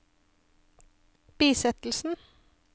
bisettelsen